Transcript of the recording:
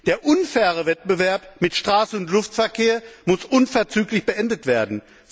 Der unfaire Wettbewerb mit Straßen und Luftverkehr muss unverzüglich beendet werden.